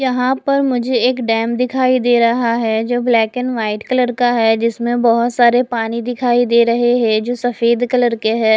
यहां पर मुझे एक डैम दिखाई दे रहा है जो ब्लैक एंड व्हाइट कलर का है जिसमें बहोत सारे पानी दिखाई दे रहे हैं जो सफेद कलर के हैं।